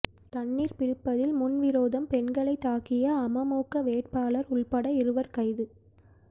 தண்ணீர் பிடிப்பதில் முன்விரோதம் பெண்ணை தாக்கிய அமமுக வேட்பாளர் உள்பட இருவர் கைது